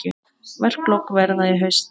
Verklok verða í haust.